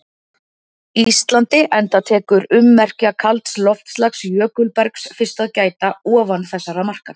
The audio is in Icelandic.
Íslandi enda tekur ummerkja kalds loftslags- jökulbergs- fyrst að gæta ofan þessara marka.